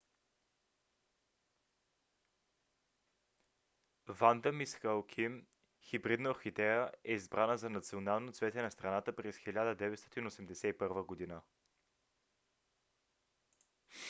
ванда мис хоаким хибридна орхидея е избрана за национално цвете на страната през 1981 г